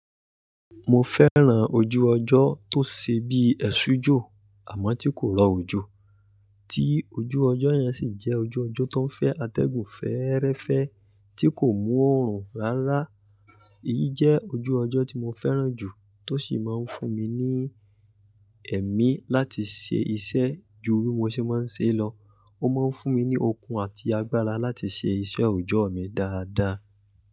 Mo fẹ́ran ojú ọjọ́ tó ṣe bí ẹ̀sùjò àmọ́ tí kò rọ òjò, tí ojú ọjọ́ yẹn sì jẹ́ ojú ọjọ́ tó ń fẹ́ atẹ́gùn fẹ́ẹ́rẹ́fẹ́ tí kò mú òórùn rárá. Èyí jẹ́ ojú ọjọ́ tí mo fẹ́ran jù tó sì máa ń fún mi ní ẹ̀mí láti ṣe iṣẹ́ ju bí mo ṣe máa ń ṣe lọ. Ó máa ń fún mi ní okun àti agbára láti ṣe iṣẹ́ òòjọ́ mi dáadáa.